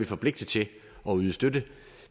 forpligtet til at yde støtte